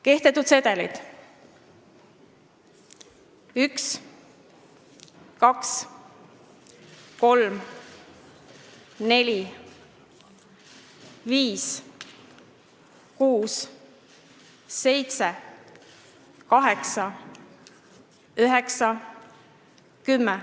Kehtetud sedelid: 1, 2, 3, 4, 5, 6, 7, 8, 9, 10.